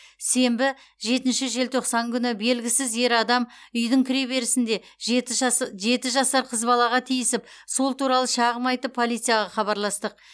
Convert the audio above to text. сенбі жетінші желтоқсан күні белгісіз ер адам үйдің кіреберісінде жеті жасар қыз балаға тиісіп сол туралы шағым айтып полицияға хабарластық